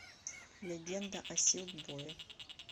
легенда о силкбое